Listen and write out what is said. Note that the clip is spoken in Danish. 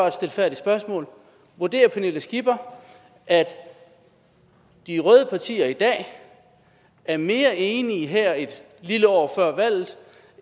et stilfærdigt spørgsmål vurderer pernille skipper at de røde partier i dag er mere enige her et lille år før valget